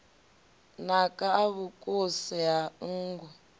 naka a vhukuse ha nngu